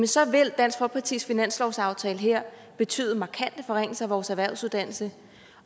så vil dansk folkepartis finanslovsaftale her betyde markante forringelser af vores erhvervsuddannelser